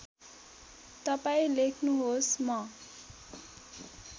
तपाईँ लेख्नुहोस् म